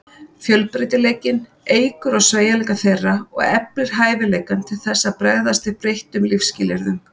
Fjölbreytileikinn eykur á sveigjanleika þeirra og eflir hæfileikann til þess að bregðast við breyttum lífsskilyrðum.